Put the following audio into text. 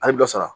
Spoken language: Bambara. A ye dɔ sara